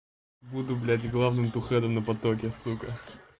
буду блядь главным тухэдом на потоке сука